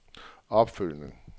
opfølgning